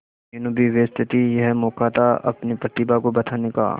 मीनू भी व्यस्त थी यह मौका था अपनी प्रतिभा को बताने का